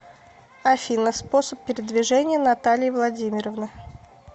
афина способ передвижения натальи владимировны